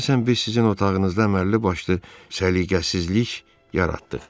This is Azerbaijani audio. Deyəsən biz sizin otağınızda əməlli başlı səliqəsizlik yaratdıq.